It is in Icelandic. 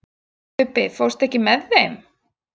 Ubbi, ekki fórstu með þeim?